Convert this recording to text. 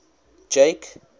jake